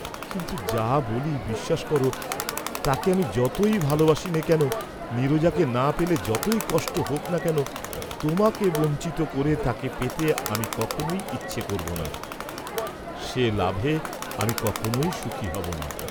কিন্তু যা বলি বিশ্বাস করো, তাকে আমি যতই ভালবাসিনে কেন, নীরজাকে না পেলে যতই কষ্ট হােক না কেন, তােমাকে বঞ্চিত করে তাকে পেতে আমি কখনই ইচ্ছে করব না, সে লাভে আমি কখনই সুখী হব না।